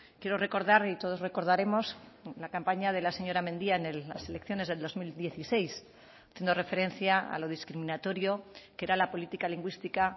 quiero recordar y todos recordaremos la campaña de la señora mendia en las elecciones del dos mil dieciséis haciendo referencia a lo discriminatorio que era la política lingüística